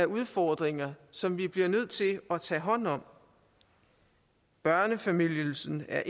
udfordringer som vi bliver nødt til at tage hånd om børnefamilieydelsen er